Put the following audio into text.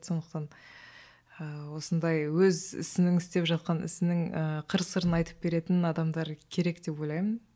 сондықтан ііі осындай өз ісінің істеп жатқан ісінің ыыы қыр сырын айтып беретін адамдар керек деп ойлаймын